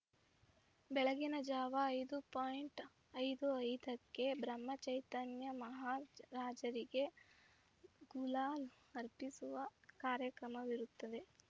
ಬೆಳಗಿನ ಜಾವ ಐದು ಪಾಯಿಂಟ್ ಐದು ಐದಕ್ಕೆ ಬ್ರಹ್ಮಚೈತನ್ಯ ಮಹಾರಾಜರಿಗೆ ಗುಲಾಲ್ ಅರ್ಪಿಸುವ ಕಾರ್ಯಕ್ರಮವಿರುತ್ತದೆ